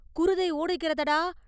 “குருதை ஓடுகிறதடா!